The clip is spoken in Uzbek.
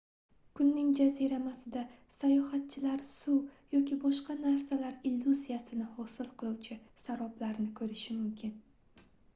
kunning jaziramasida sayohatchilar suv yoki boshqa narsalar illyuziyasini hosil qiluvchi saroblarni ko'rishi mumkin